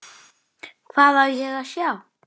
Þó síðar væri.